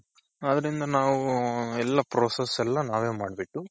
ಆದ್ರಿಂದ ನಾವು ಎಲ್ಲಾ process ಎಲ್ಲಾ ನಾವೇ ಮಾಡ್ಬಿಟ್ಟು.